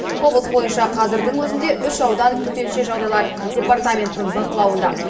облыс бойынша қазірдің өзінде үш аудан төтенше жағдайлар департаментінің бақылауында